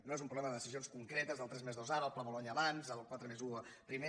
no és un problema de decisions concretes del tres+dos ara el pla bolonya abans el quatre+un primer